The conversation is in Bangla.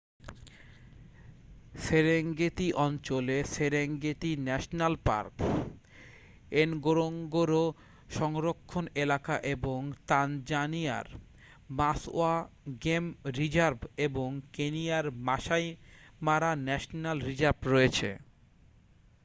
সেরেঙ্গেতি অঞ্চলে সেরেঙ্গেটি ন্যাশনাল পার্ক এনগোরোঙ্গোরো সংরক্ষণ এলাকা এবং তানজানিয়ার মাসওয়া গেম রিজার্ভ এবং কেনিয়ার মাসাই মারা ন্যাশনাল রিজার্ভ রয়েছে